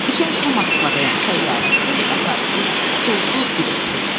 İçən kimi Moskvadayam təyyarəsiz, qatarsız, pulsuz, biletsiz.